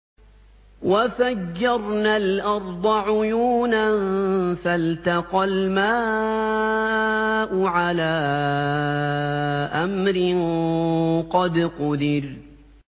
وَفَجَّرْنَا الْأَرْضَ عُيُونًا فَالْتَقَى الْمَاءُ عَلَىٰ أَمْرٍ قَدْ قُدِرَ